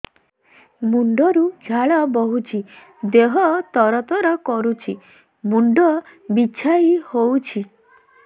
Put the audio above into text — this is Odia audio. ମୁଣ୍ଡ ରୁ ଝାଳ ବହୁଛି ଦେହ ତର ତର କରୁଛି ମୁଣ୍ଡ ବିଞ୍ଛାଇ ହଉଛି